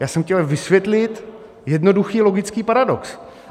Já jsem chtěl vysvětlit jednoduchý logický paradox.